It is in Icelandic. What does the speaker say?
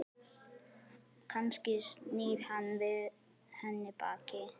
Kannski snýr hann við henni baki?